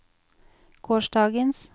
gårsdagens